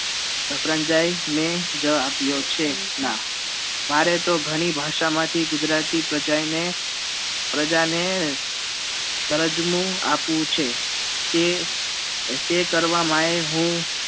પ્રનજાઇ ને જ આપ્યા છે ના મારે તો ઘણી ભાષા માંથી ગુજરાતી પ્રજાઈ ને પ્રજા ને કરજવું આપવું છે તે તે કરવા મા એ હું